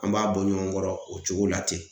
An b'a bɔ ɲɔgɔn kɔrɔ o cogo la ten .